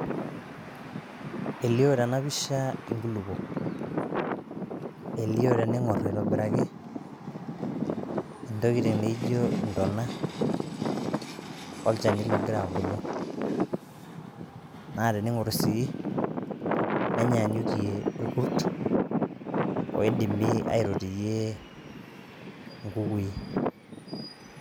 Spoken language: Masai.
elio tena pisha nkulupuok elioo teningor aitobiraki ntokitin naijo intona olchani logira abulu naa teningor sii nenyaanyukie irkurt oidimi aitotiyie inkukui